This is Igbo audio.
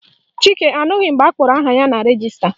Chike anụghị mgbe akpọrọ aha ya na rejista